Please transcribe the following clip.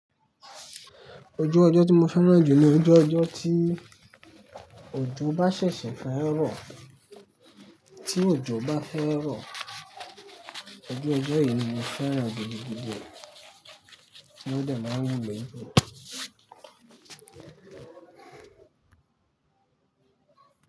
Ojú ọjọ́ tí mo fẹ́ràn jù ni ojú ọjọ́ tí òjò bá ṣẹ̀ṣẹ̀ fẹ́ rọ̀, tí òjò bá fẹ́ rọ̀, ojú ọjọ́ yìí ni mo fẹ́ràn gigigigi o, ní ọ dẹ̀ máa ń mú mi.